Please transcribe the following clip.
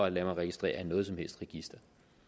at lade mig registrere i noget som helst register